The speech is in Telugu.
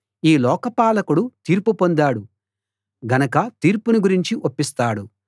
ఈ లోకపాలకుడు తీర్పు పొందాడు గనక తీర్పును గురించి ఒప్పిస్తాడు